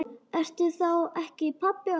Ertu þá ekki pabbi okkar?